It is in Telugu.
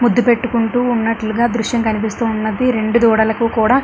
ముద్దు పెట్టుకుంటూ ఉన్నట్లుగా దృశ్యం కనిపిస్తూ ఉన్నది. రెండు దూడలకు కూడా --